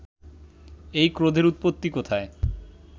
এই ক্রোধের উৎপত্তি কোথায়